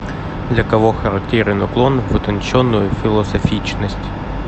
для кого характерен уклон в утонченную философичность